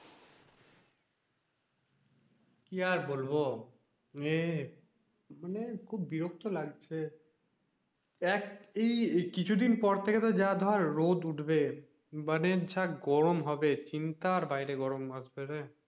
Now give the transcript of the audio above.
কি আর বলবো এই মানে খুব বিরক্ত লাগছে এক এই কিছু দিন পর থাকে যে ধর রোদ উঠবে মানে যা গরম হবে চিন্তা বাইরে গরম আসবে রে,